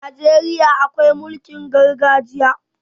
A Najeriya akwai mulkin gargajiya.